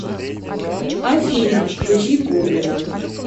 афина включи гоблина